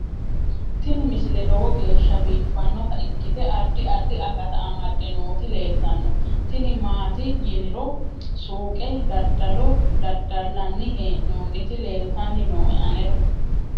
tini misile lowo geeshsha biiffannota ikkite addi addi akata amadde nooti leeltannoe tini maati yiniro suuqe dadalo dadallanni hee'noonniti leeltanni nooe anera